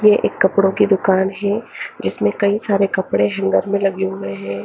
ये एक कपड़ों की दुकान है जीसमें कई सारे कपड़े हैंगर में लगे हुए हैं।